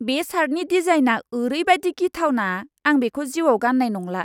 बे शार्टनि डिजाइनआ ओरैबादि गिथावना आं बेखौ जीउआव गान्नाय नंला।